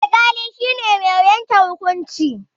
Alƙali shine mai yanke hukunci